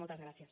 moltes gràcies